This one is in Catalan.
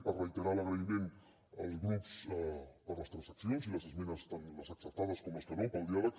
per reiterar l’agraïment als grups per les transaccions i les esmenes tant les acceptades com les que no pel diàleg